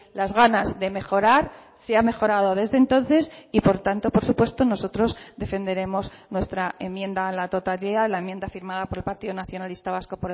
las ganas de mejorar se ha mejorado desde entonces y por tanto por supuesto nosotros defenderemos nuestra enmienda a la totalidad la enmienda firmada por el partido nacionalista vasco